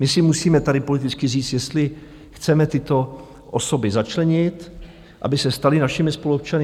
My si musíme tady politicky říct, jestli chceme tyto osoby začlenit, aby se staly našimi spoluobčany.